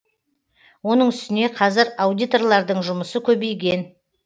оның үстіне қазір аудиторлардың жұмысы көбейген